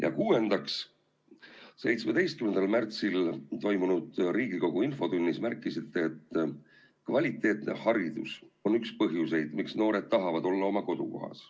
Ja kuuendaks, 17. märtsil toimunud Riigikogu infotunnis märkisite, et kvaliteetne haridus on üks põhjuseid, miks noored tahavad olla oma kodukohas.